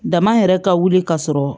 Dama yɛrɛ ka wuli ka sɔrɔ